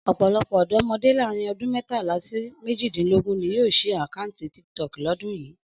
Ọ̀pọ̀lọpọ̀ ọ̀dọ́mọdé láàárín ọdún mẹ́tàlá sí méjìdínlógún ni yóò ṣí àkáǹtì TikTok lọ́dún yìí